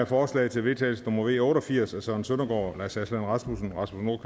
forslag til vedtagelse nummer v otte og firs af søren søndergaard lars aslan rasmussen rasmus